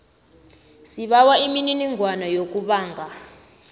sibawa imininingwana yokubhanga